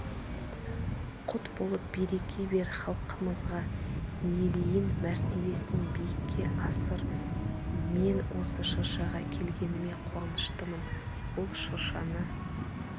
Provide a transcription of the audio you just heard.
құт болып береке бер халқымызға мерейін мәртебесін биікке асыр мен осы шыршаға келгеніме қуаныштымын бұл шыршаны